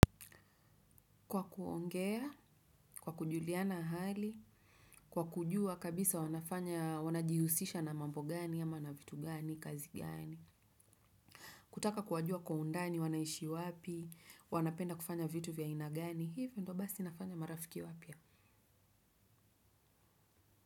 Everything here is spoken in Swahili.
Kwa kuongea, kwa kujuliana hali, kwa kujua kabisa wanafanya, wanajihusisha na mambo gani, ama na vitu gani, kazi gani. Kutaka kuwajua kwa undani, wanaishi wapi, wanapenda kufanya vitu vya aina gani, hivyo ndo basi nafanya marafiki wapya.